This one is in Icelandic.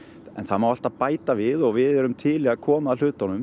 en það má alltaf bæta við og við erum til í að koma að hlutunum